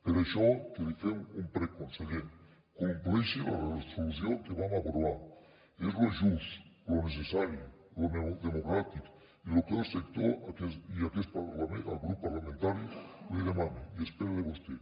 per això que li fem un prec conseller compleixi la resolució que vam aprovar és lo just lo necessari lo democràtic i lo que el sector i aquest grup parlamentari li demana i espera de vostè